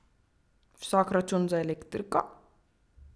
Visok račun za elektriko?